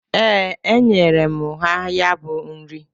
Ee, enyere m ha ya bụ nri.